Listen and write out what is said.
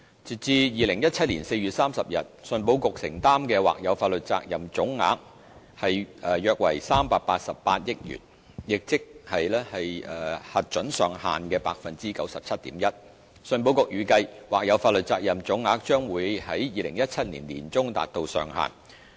截至2017年4月30日，信保局承擔的或有法律責任總額約為388億元，亦即核准上限的 97.1%， 信保局預計，或有法律責任總額將會在2017年年中達到上限。